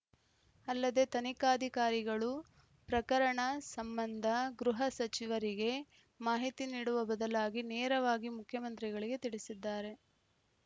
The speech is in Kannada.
ಅಲ್ಲದೆ ತನಿಖಾಧಿಕಾರಿಗಳು ಪ್ರಕರಣ ಸಂಬಂಧ ಗೃಹ ಸಚಿವರಿಗೆ ಮಾಹಿತಿ ನೀಡುವ ಬದಲಾಗಿ ನೇರವಾಗಿ ಮುಖ್ಯಮಂತ್ರಿಗಳಿಗೆ ತಿಳಿಸಿದ್ದಾರೆ